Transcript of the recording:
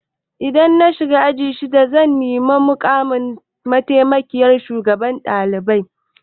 Idan na shiga aji shida zan nemi mukamin mataimakiyyar shugaban ɗalibai.